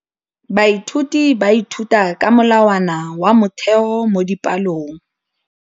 Baithuti ba ithuta ka molawana wa motheo mo dipalong.